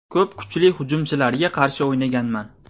Ko‘p kuchli hujumchilarga qarshi o‘ynaganman.